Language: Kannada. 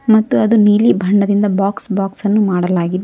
ಮತ್ತು ಅದು ನೀಲಿ ಬಣ್ಣದಿಂದ ಬಾಕ್ಸ್ ಬಾಕ್ಸ್ ಅನ್ನು ಮಾಡಲಾಗಿದೆ.